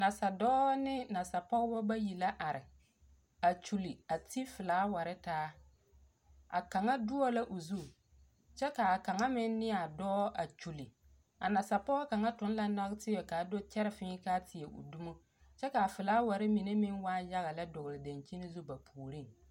Nasadɔɔ ne nasapɔgbɔ bayi la are a kyuli a ti felaware taa. A Kaŋa doɔ la o zu, kyɛ kaa kaŋa meŋ ne a dɔɔ kyuli. A nasapɔɔ kaŋa toŋ la nagteɛ kaa do kyɛre fĩĩ kaa teɛ o dumo. Kyɛ kaa felaware meŋ waa yaga lɛ a dɔgle dankyini zu ba puoriŋ.